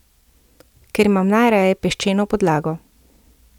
Ker imam najraje peščeno podlago.